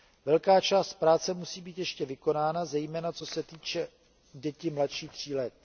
Velká část práce musí být ještě vykonána, zejména co se týče dětí mladších tří let.